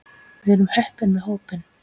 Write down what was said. Við erum heppin með hópinn.